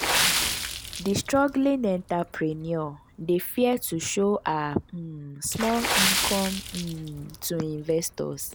di struggling entrepreneur dey fear to show her um small income um to investors.